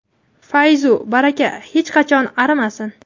fayzu baraka hech qachon arimasin.